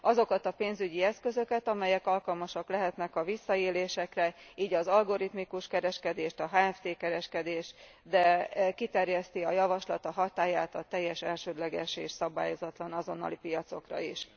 Azokat a pénzügyi eszközöket, amelyek alkalmasak lehetnek a visszaélésekre, így az algoritmikus kereskedést, a HFT kereskedést, de kiterjeszti a javaslat a hatályát a teljes elsődleges és szabályozatlan azonnali piacokra is.